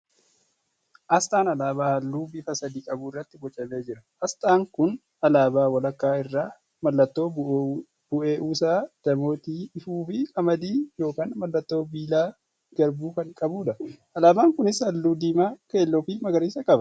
Asxaan alaabaa halluu bifa sadii qabu irrattti bocamee jira. Asxaa kun alaabaa walakkaa irraa mallattoo bueeuusaa, daamotii ifu fi qamadii yookan mallattoo biillaa garbuu kan qabuudha. Alaabaan kunis halluu diiimaa, keelloo fi magariisaa qaba.